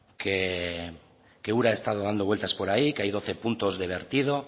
que ura ha estado dando vueltas por ahí que hay doce puntos de vertido